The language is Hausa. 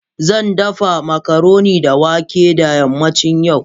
Zan dafa macaroni da wake da yammacin yau